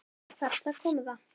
Þarna kom það.